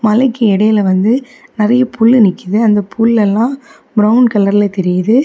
மலைக்கு இடையில வந்து நிறைய புல் நிக்குது அந்த புல் எல்லா பிரவுன் கலர்ல தெரியுது.